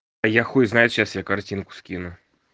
а я хуй знает сейчас тебе картинку скину